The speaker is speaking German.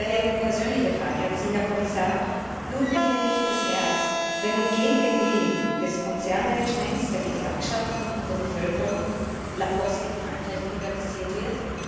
Daher eine persönliche Frage an Sie, Herr Kommissar Blutet Ihnen nicht das Herz, wenn nun gegen den Willen des Konzernmanagements, der Gewerkschaften und der Bevölkerung La Poste in Frankreich privatisiert wird?